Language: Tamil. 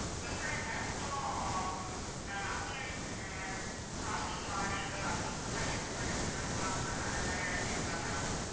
கேக்குது ma'am உம் இப்போ அஹ் அங்க ஆஹ் shopping mall அங்க எந்த மதிரி இடத்துல எல்லாம் shop பண்ணலாம் அந்த மாதிரி எதாச்சும் இருக்குதா ma'am